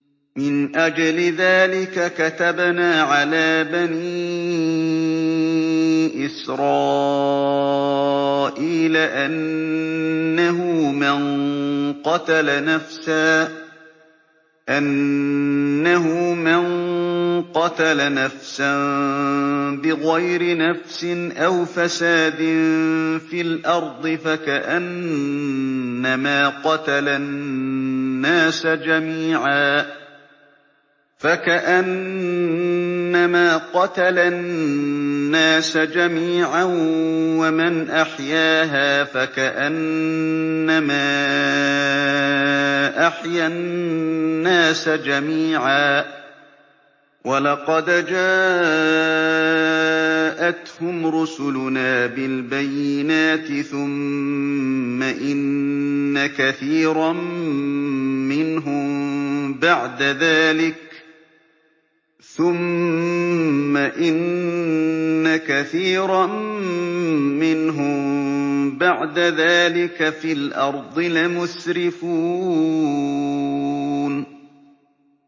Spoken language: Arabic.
مِنْ أَجْلِ ذَٰلِكَ كَتَبْنَا عَلَىٰ بَنِي إِسْرَائِيلَ أَنَّهُ مَن قَتَلَ نَفْسًا بِغَيْرِ نَفْسٍ أَوْ فَسَادٍ فِي الْأَرْضِ فَكَأَنَّمَا قَتَلَ النَّاسَ جَمِيعًا وَمَنْ أَحْيَاهَا فَكَأَنَّمَا أَحْيَا النَّاسَ جَمِيعًا ۚ وَلَقَدْ جَاءَتْهُمْ رُسُلُنَا بِالْبَيِّنَاتِ ثُمَّ إِنَّ كَثِيرًا مِّنْهُم بَعْدَ ذَٰلِكَ فِي الْأَرْضِ لَمُسْرِفُونَ